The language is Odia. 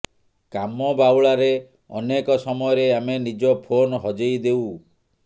କାମ ବାଉଳାରେ ଅନେକ ସମୟରେ ଆମେ ନିଜ ଫୋନ୍ ହଜେଇ ଦେଉ